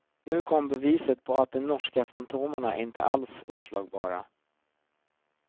Nu kom beviset på att de norska fantomerna inte alls oslagbara.